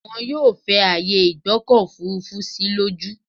Wọn yóò fẹ ààyè ìgbọ́kọ̀ òfurufú sí lójú.